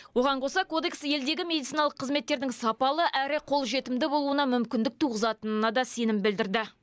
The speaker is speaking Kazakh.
оған қоса кодекс елдегі медициналық қызметтердің сапалы әрі қолжетімді болуына мүмкіндік туғызатынына да сенім білдірді